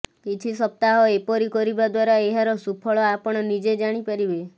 କିଛି ସପ୍ତାହ ଏପରି କରିବା ଦ୍ବାରା ଏହାର ସୁଫଳ ଆପଣ ନିଜେ ଜାଣି ପାରିବେ